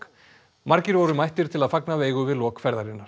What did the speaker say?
margir voru mættir til að fagna Veigu við lok ferðarinnar